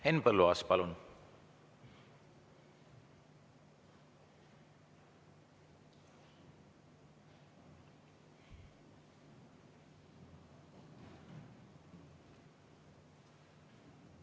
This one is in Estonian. Henn Põlluaas, palun!